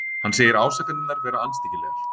Hann segir ásakanirnar vera andstyggilegar